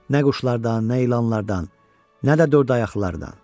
Nə quşlardan, nə ilanlardan, nə də dörd ayaqlılardan.